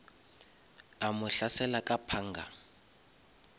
a mo hlasela ka panga